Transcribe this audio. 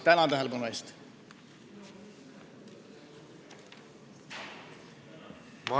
Tänan tähelepanu eest!